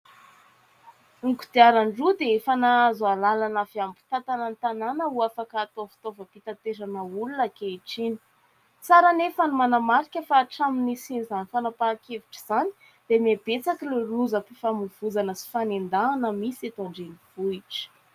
Ny kodiaran-droa dia efa nahazo alalana avy amin'ny mpitantana ny tanàna ho afaka hatao fitaovam-pitaterana olona ankehitriny. Tsara anefa ny manamarika fa hatraminy nisian'izany fanapahan-kevitra izany dia mihabetsaka lozam-pifamoivoizana sy fanendahana misy eto an-drenivohitra